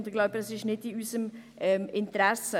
Ich glaube, das ist nicht in unserem Interesse.